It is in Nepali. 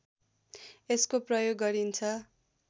यसको प्रयोग गरिन्छ